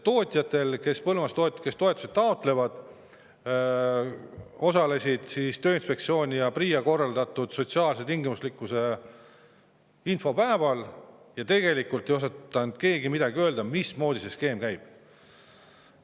Põllumajandustootjad, kes toetusi taotlevad, osalesid Tööinspektsiooni ja PRIA korraldatud sotsiaalse tingimuslikkuse infopäeval, aga tegelikult ei osanud keegi öelda, mismoodi see skeem.